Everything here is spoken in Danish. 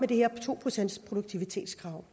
det her to procentsproduktivitetskrav